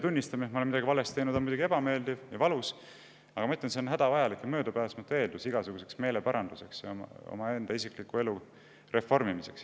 Tunnistada, et me oleme midagi valesti teinud, on muidugi ebameeldiv ja valus, aga ma ütlen, et see on hädavajalik ja möödapääsmatu, sest see on igasuguse meeleparanduse, isikliku elu reformimise eeldus.